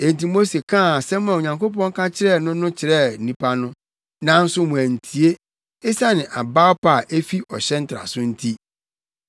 Enti Mose kaa asɛm a Onyankopɔn ka kyerɛɛ no no kyerɛɛ nnipa no, nanso wɔantie, esiane abawpa a efi ɔhyɛ ntraso nti.